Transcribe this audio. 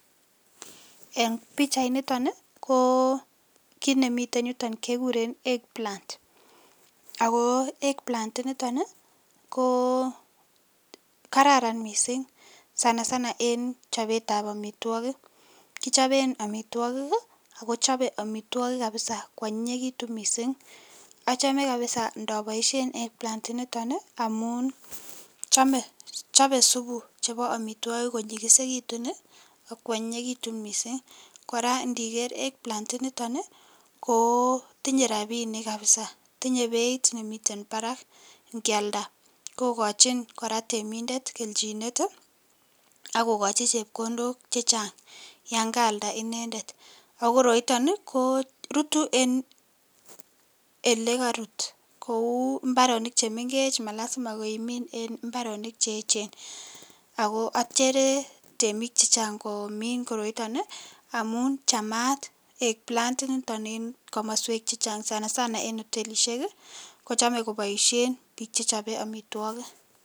En pichainiton ko kit nemiten yuton kekuren egg plants, ako egg plants initon ii ko kararan missing' sana sana en chopetab omitwogik, kichoben omitwogik ii akocheben omitwogik kwonyinyekitun kabisa kwonyinyekitun missing' ochome kabisa ndo boishen egg plants initon ii chobe supu chebo omitwogik ko onyinyekitun ii ak kwonyinyekitun missing' , koraa indiker egg plants initon ii koo tinye rabinik kabisa tinye beit nemiten barak inkialda ako kochin koraa temindet kelchinet, ak kokochi chepkondok chechang yan kaalda inendet, o koroiton ii korutu en olekorut kou imbaronik chemengech malasima imin en imbaronik cheechen ako ochere temik chechang komin koroiton ii amun chamaat egg plant initon ii en komoswek chechang sana sana ko en hotelishek ii kochome koboishen bik chechobe omitwogik.